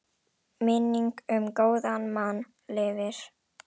Minning um góðan mann lifir.